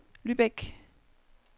Lübeck